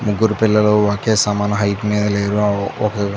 ముగ్గురు పిల్లలు ఒకే సమాన హైట్ మీద లేరు. ఆ ఒక --